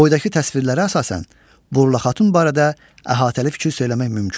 Boydakı təsvirlərə əsasən Burla xatun barədə əhatəli fikir söyləmək mümkündür.